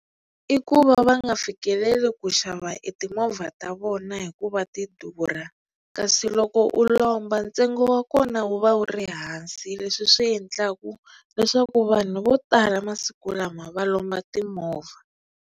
I ku va va nga fikeleli ku xava e timovha ta vona hikuva ti durha kasi loko u lomba ntsengo wa kona wu va wu ri hansi leswi swi endlaka leswaku vanhu vo tala masiku lama va lomba timovha.